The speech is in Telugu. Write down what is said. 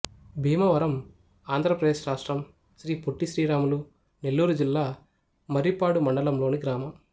భీమవరం ఆంధ్ర ప్రదేశ్ రాష్ట్రం శ్రీ పొట్టి శ్రీరాములు నెల్లూరు జిల్లా మర్రిపాడు మండలం లోని గ్రామం